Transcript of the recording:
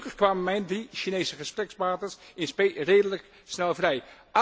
Gelukkig kwamen mijn drie Chinese gesprekspartners in spe redelijk snel vrij.